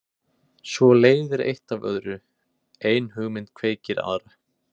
Svo leiðir eitt af öðru, ein hugmynd kveikir aðra.